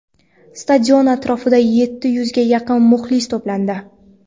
Stadion atrofida yetti yuzga yaqin muxlis to‘plandi.